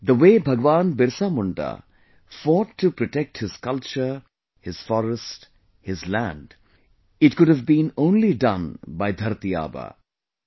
The way Bhagwan Birsa Munda fought to protect his culture, his forest, his land, it could have only been done by 'Dharti Aaba'